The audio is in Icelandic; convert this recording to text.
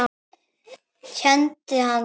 Kenndi hann